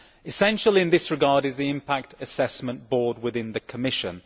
Essential in this regard is the Impact Assessment Board within the Commission.